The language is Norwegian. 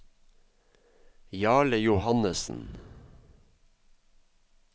Jarle Johannessen